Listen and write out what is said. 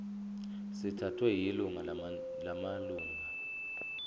sithathwe yiningi lamalunga